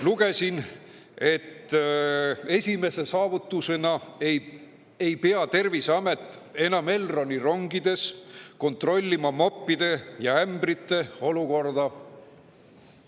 Lugesin, et esimese saavutusena ei pea Terviseamet enam Elroni rongides kontrollima moppide ja ämbrite olukorda.